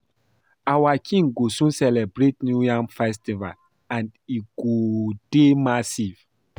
Our King go soon celebrate new yam festival and e go dey massive